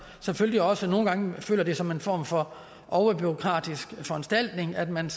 selvfølgelig også nogle gange føler det som en form for overbureaukratisk foranstaltning at man